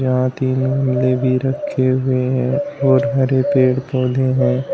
यहां भी रखे हुए हैं बहुत सारे पेड़ पौधे हैं।